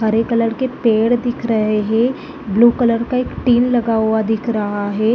हरे colour के पेड़ दिख रहे हैं ब्लू कलर का एक टीन लगा हुआ दिख रहा है ।